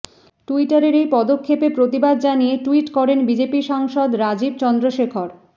টুইটারের এই পদক্ষেপে প্রতিবাদ জানিয়ে টুইট করেন বিজেপি সাংসদ রাজীব চন্দ্রশেখর